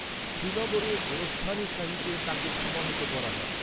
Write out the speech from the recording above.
শ্রীনগরের গোরস্তান ই শাহীতে তাঁকে সমাহিত করা হয়।